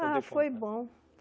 Ah, foi bom.